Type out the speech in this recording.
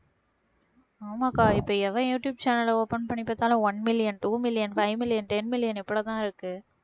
ஆமாக்கா இப்ப எவன் யூடுயூப் channel அ open பண்ணி பார்த்தாலும் one million, two million, five million, ten million இருக்கு